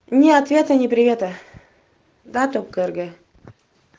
ни ответа ни привета да там карга